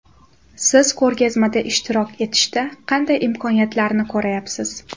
Siz ko‘rgazmada ishtirok etishda qanday imkoniyatlarni ko‘rayapsiz ?